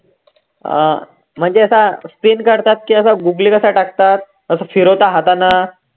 अं म्हणजे आता spin करतात की असा googly कसा टाकतात, असं फिरवता हातानं